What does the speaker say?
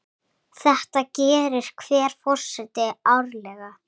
Þetta gerir hver forseti árlega.